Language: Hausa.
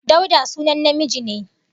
Dauda sunan namiji ne